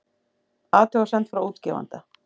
Athugasemd frá útgefanda